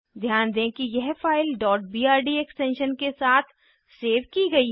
ध्यान दें कि यह फाइल brd एक्सटेंशन के साथ सेव की गयी है